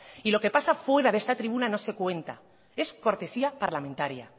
y lo que pasa fuera de esta tribuna no se cuenta es cortesía parlamentaria